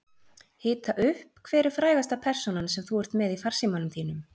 Hita upp Hver er frægasta persónan sem þú ert með í farsímanum þínum?